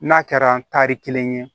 N'a kɛra tari kelen ye